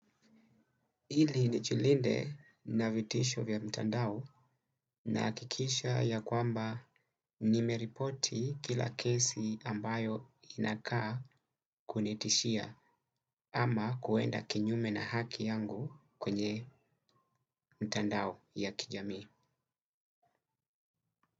Ili ni jilinde na vitisho vya mtandao nahakikisha ya kwamba nimeripoti kila kesi ambayo inakaa kunitishia ama kuenda kinyume na haki yangu kwenye mtandao ya kijamii.